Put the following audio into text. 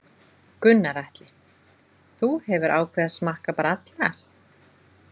Gunnar Atli: Þú hefur ákveðið að smakka bara allar?